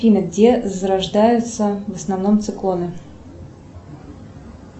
афина где зарождаются в основном циклоны